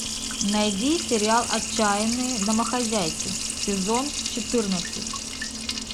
найди сериал отчаянные домохозяйки сезон четырнадцать